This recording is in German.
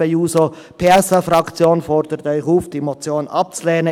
Die SP-JUSO-PSA-Fraktion fordert Sie auf, diese Motion abzulehnen.